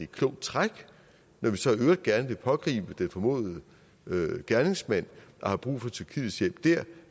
klogt træk når man så i øvrigt gerne vil pågribe den formodede gerningsmand og har brug for tyrkiets hjælp der